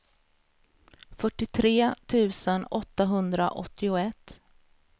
fyrtiotre tusen åttahundraåttioett